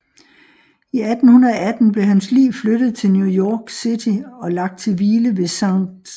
I 1818 blev hans lig flyttet til New York City og lagt til hvile ved St